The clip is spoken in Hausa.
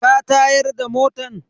Ka tayar da motan?